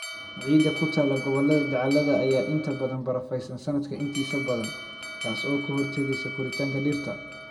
Ciidda ku taal gobollada dacallada ayaa inta badan barafaysan sannadka intiisa badan, taas oo ka hortagaysa koritaanka dhirta.